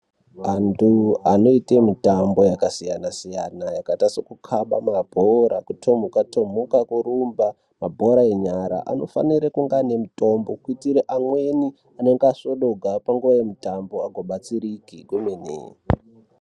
Antu anoite mitambo yakasiyana- siyana yakaita sekukhaba mabhora kutomhuka-tomhuka ,kurumba mabhora enyara anofanire kunge ane mitombo kuitira amweni anenge asvodoka panguwa yemutambo agobatsirike zvemene.